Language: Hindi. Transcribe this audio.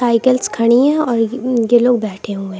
साइकिल्स खड़ी हैं और ये लोग बैठे हुए हैं।